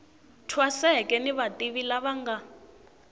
thwaseke ni vativi lava nga